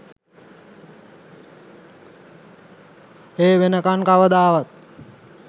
ඒ වෙනකන් කවදාවත්